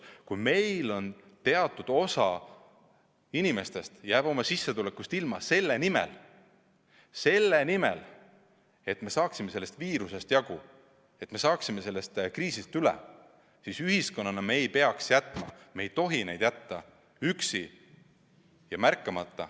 Kui meil teatud osa inimesi jääb oma sissetulekust ilma selle nimel, et me saaksime sellest viirusest jagu, et me saaksime sellest kriisist üle, siis ühiskonnana me ei tohi neid jätta üksi, jätta märkamata.